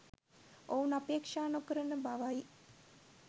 ඔවුන් අපේක්ෂා නොකරන බවයි